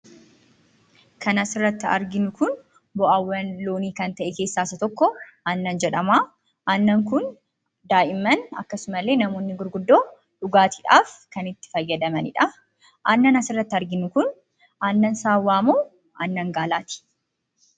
Kan asirratti arginu kun bu'aawwan loonii kan ta'e keessaa isa tokko, aannan jedhamaa. Aannan kun daa'imman akkasumallee namoonni gurguddoon dhugaatiidhaaf kan itti fayyadamanidhaa. Aannan asirratti arginu kun aannan saawwaamoo, aannan gaalaati?